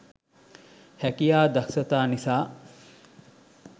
හැකියා දක්‌ෂතා නිසා